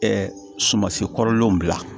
sumansi kɔrɔlenw bila